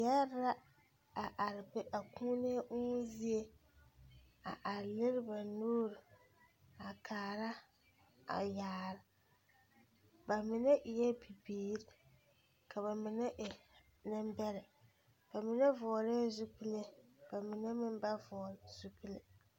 Yɛre la a are be a kūūni uumo zie a are lere ba nuuri a kaara a yaare ba mine eɛ bibiiri ka ba mine e nembɛrɛ ba mine vɔglɛɛ zupile ba mine meŋ ba vɔgle zupile.